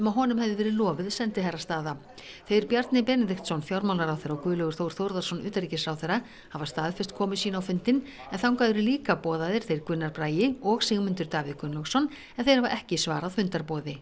að honum hefði verið lofuð sendiherrastaða þeir Bjarni Benediktsson fjármálaráðherra og Guðlaugur Þór Þórðarson utanríkisráðherra hafa staðfest komu sína á fundinn en þangað eru líka boðaðir þeir Gunnar Bragi og Sigmundur Davíð Gunnlaugsson en þeir hafa ekki svarað fundarboði